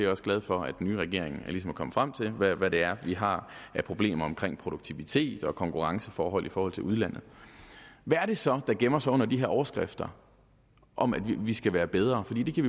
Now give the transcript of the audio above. også glad for at den nye regering ligesom er kommet frem til hvad det er vi har af problemer omkring produktivitet og konkurrenceforhold i forhold til udlandet hvad er det så der gemmer sig under de her overskrifter om at vi skal være bedre for det kan